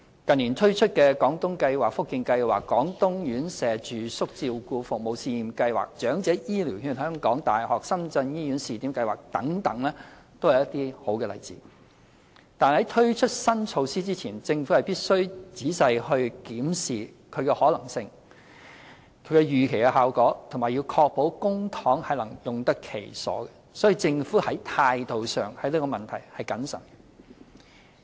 近年推出的"廣東計劃"、"福建計劃"、"廣東院舍住宿照顧服務試驗計劃"、"長者醫療券香港大學深圳醫院試點計劃"等都是一些好例子，但在推出新措施前，政府必須仔細檢視其可行性及預期效果，並確保公帑能用得其所，所以，政府在這個問題上的態度是謹慎的。